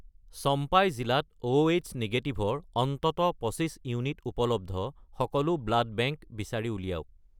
চম্পাই জিলাত Oh negative -ৰ অন্ততঃ 25 ইউনিট উপলব্ধ সকলো ব্লাড বেংক বিচাৰি উলিয়াওক